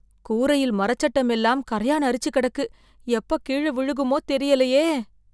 கூரையில் மரச்சட்டம் எல்லாம் கரையான் அரிச்சு கிடக்கு, எப்ப கீழ விழுகுமோ தெரியலயே.